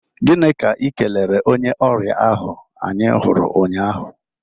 Gini ka i kelere onye ọrịa ahụ anyị huru nnya ahụ?